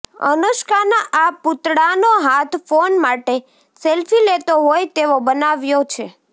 અનુષ્કાના આ પૂતળાનો હાથ ફોન માટે સેલ્ફી લેતો હોય તેવો બનાવાયો છે